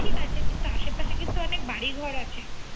ঠিক আছে আশে পাশে কিন্তু অনেক বাড়ি ঘর আছে